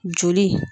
Joli